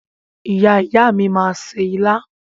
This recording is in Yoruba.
Ìyá ìyá mi máa se ilá